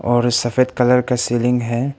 और ये सफेद कलर का सीलिंग है।